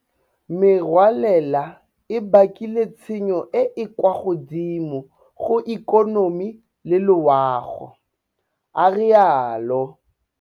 Merwalela e bakile tshenyo e e kwa godimo go ikonomi le loago, a rialo.